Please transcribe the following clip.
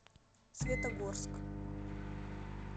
светогорск